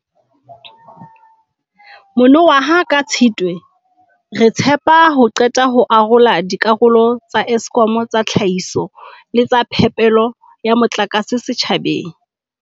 Mono waha ka Tshitwe, re tshepa ho qeta ho arola dikarolo tsa Eskom tsa tlhahiso le tsa phepelo ya motlakase setjhabeng.